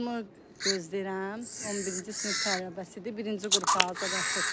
Qızımı gözləyirəm, 11-ci sinif tələbəsidir, birinci qrupa hazırlaşır.